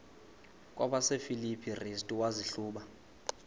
kwabasefilipi restu wazihluba